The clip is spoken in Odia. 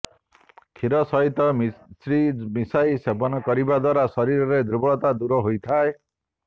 କ୍ଷୀର ସହିତ ମିଶ୍ରି ମିଶାଇ ସେବନ କରିବାଦ୍ୱାରା ଶରୀରର ଦୁର୍ବଳତା ଦୂର ହୋଇଥାଏ